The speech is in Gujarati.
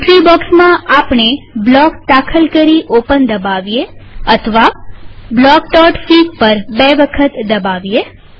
એન્ટ્રી બોક્સમાંઆપણે બ્લોક દાખલ કરી ઓપન દબાવીએઅથવા બ્લોકફીગ પર બે વખત દબાવીએ